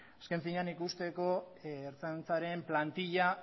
azken finean ikusteko ertzaintzaren plantilla